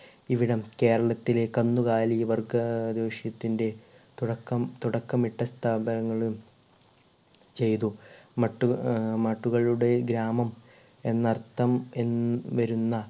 ഇവിടം കേരളത്തിലെ കന്നുകാലി വർഗ അഹ് റോഷിത്തിന്റ തുടക്കം തുടക്കമിട്ട സ്ഥാപനങ്ങളും ചെയ്തു മട്ട് ഏർ മട്ടുകളുടെ ഗ്രാമം എന്നർത്ഥം ഹും വരുന്ന